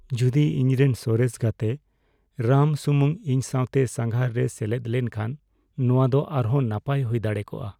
ᱡᱩᱫᱤ ᱤᱧᱨᱮᱱ ᱥᱚᱨᱮᱥ ᱜᱟᱛᱮ ᱨᱟᱢ ᱥᱩᱢᱩᱝ, ᱤᱧ ᱥᱟᱶᱛᱮ ᱥᱟᱸᱜᱷᱟᱨ ᱨᱮᱭ ᱥᱮᱞᱮᱫ ᱞᱮᱱᱠᱷᱟᱱ ᱾ ᱱᱚᱶᱟ ᱫᱚ ᱟᱨᱦᱚᱸ ᱱᱟᱯᱟᱭ ᱦᱩᱭ ᱫᱟᱲᱮ ᱠᱚᱜᱼᱟ ᱾